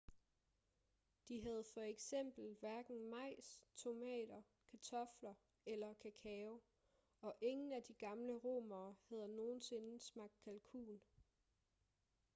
de havde for eksempel hverken majs tomater kartofler eller kakao og ingen af de gamle romere havde nogensinde smagt kalkun